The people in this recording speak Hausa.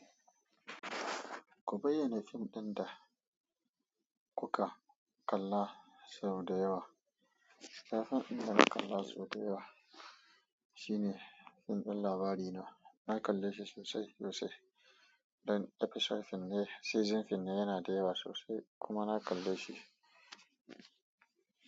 Ku bayyana fim ɗin da kuka kalla sau da yawa. Na fim ɗin da na kalla sau da yawa shine fim ɗin labari na. Na kalle shi sosai sosai don episode finne season finne yana da yawa sosai kuma na kalle shi.